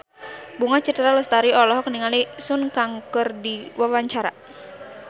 Bunga Citra Lestari olohok ningali Sun Kang keur diwawancara